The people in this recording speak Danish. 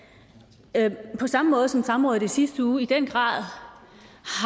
den her på samme måde som samrådet i sidste uge i den grad